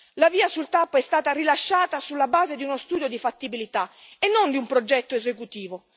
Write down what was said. La VIA sulla TAP è stata rilasciata sulla base di uno studio di fattibilità e non di un progetto esecutivo.